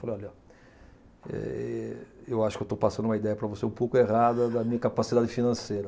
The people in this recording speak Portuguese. Falei, olha, eh eu acho que estou passando uma ideia para você um pouco errada da minha capacidade financeira.